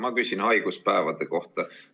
Ma küsin haiguspäevade kohta.